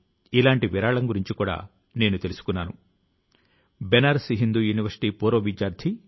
సహచరులారా పుస్తకాలు జ్ఞానాన్ని అందించడమే కాకుండా వ్యక్తిత్వాన్ని రూపుదిద్దుతాయి